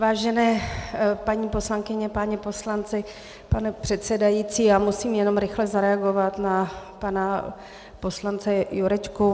Vážené paní poslankyně, páni poslanci, pane předsedající, já musím jenom rychle zareagovat na pana poslance Jurečku.